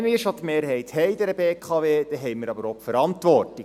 Wenn wir an dieser BKW schon die Mehrheit haben, haben wir auch die Verantwortung.